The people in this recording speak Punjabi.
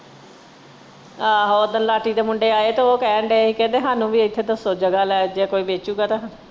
ਆਹੋ ਓਦਣ ਲਾਟੀ ਦੇ ਮੁੰਡੇ ਆਏ ਤ ਇਹ ਕਹਿਣ ਦੇ ਹੀ ਕਹਿੰਦੇ ਹਾਨੂੰ ਵੇਖ ਕੇ ਦੱਸੋ ਜਗ੍ਹਾ ਲੈ ਜਾਂ ਕੋਈ ਵੇਚੁਗਾ ਤਾਂ।